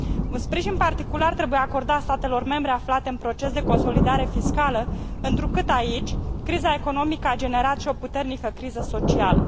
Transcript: Un sprijin particular trebuie acordat statelor membre aflate în proces de consolidare fiscală, întrucât, aici, criza economică a generat și o puternică criză socială.